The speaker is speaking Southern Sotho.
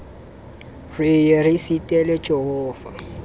re ye re sitele jehova